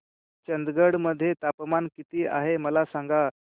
चंदगड मध्ये तापमान किती आहे मला सांगा